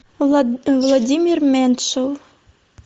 владимир меньшов